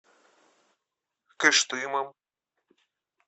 кыштымом